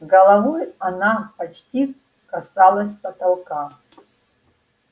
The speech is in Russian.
головой она почти касалась потолка